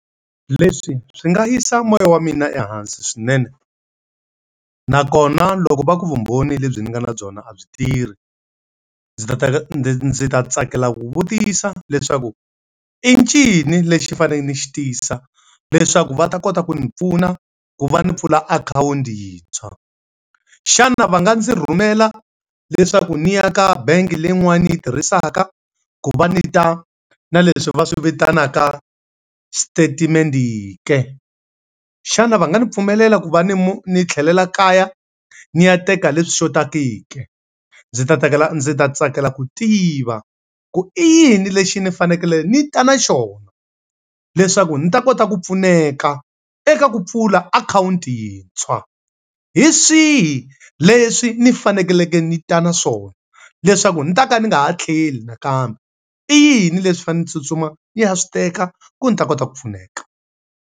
Leswi swi nga yisa moya wa mina ehansi swinene. Nakona loko va ku vumbhoni lebyi ndzi nga na byona a byi tirhi, ndzi ta ta ndzi tsakela ku vutisa leswaku i ncini lexi ndzi fanele ndzi xi tisa leswaku va ta kota ku ndzi pfuna ku va ndzi pfula akhawunti yintshwa. Xana va nga ndzi rhumela leswaku ndzi yaka bangi leyin'wani ndzi yi tirhisaka, ku va ndzi ta na leswi va swi vitanaka xitatimende ke? Xana va nga ndzi pfumelela ku va ni ndzi tlhelela kaya ndzi ya teka leswi xothaka ke? Ndzi ta ndzi ta tsakela ku tiva, ku i yini lexi ni fanekele ni ta na xona leswaku ndzi ta kota ku pfuneka eka ku pfula akhawunti yintshwa? Hi swihi leswi ndzi faneleke ndzi ta na swona leswaku ndzi ta ka ndzi nga ha tlheli nakambe? I yini leswi ndzi fanele ndzi tsutsuma ndzi ya swi teka ku ndzi ta kota ku pfuneka.